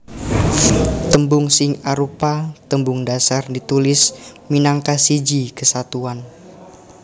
Tembung sing arupa tembung dhasar ditulis minangka siji kesatuan